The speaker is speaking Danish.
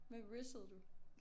Hvem rizzede du